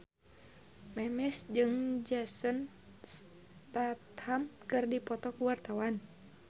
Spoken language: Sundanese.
Memes jeung Jason Statham keur dipoto ku wartawan